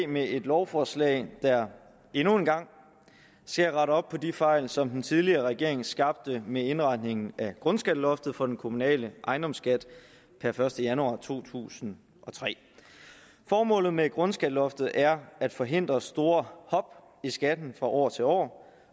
med et lovforslag der endnu en gang skal rette op på de fejl som den tidligere regering skabte med indretningen af grundskatteloftet for den kommunale ejendomsskat per første januar to tusind og tre formålet med grundskatteloftet er at forhindre store hop i skatten fra år til år